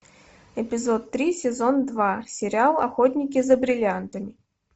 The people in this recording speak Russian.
эпизод три сезон два сериал охотники за бриллиантами